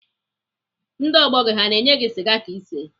Ndị ọgbọ gị ha na-enye gị sịga ka isee?